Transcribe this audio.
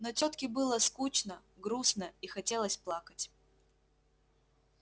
но тётке было скучно грустно и хотелось плакать